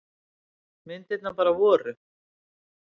Myndirnar bara voru.